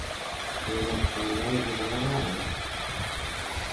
Cherop kaikai chobwo kahawek